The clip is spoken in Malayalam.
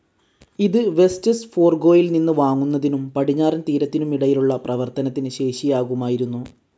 ഇത് വെസ്റ്റ്സ് ഫോർഗോയിൽ നിന്ന് വാങ്ങുന്നതിനും പടിഞ്ഞാറൻ തീരത്തിനുമിടയിലുള്ള പ്രവർത്തനത്തിന് ശേഷിയാകുമായിരുന്നു.